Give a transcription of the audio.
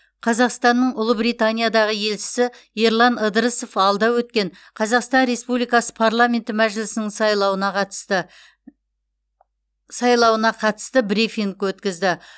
қазақстанның ұлыбританиядағы елшісі ерлан ыдырысов алда өткен қазақстан республикасы парламенті мәжілісінің сайлауына қатысты сайлауына қатысты брифинг өткізді